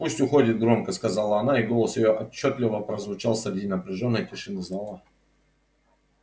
пусть уходит громко сказала она и голос её отчётливо прозвучал среди напряжённой тишины зала